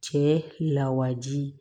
Cɛ lawaji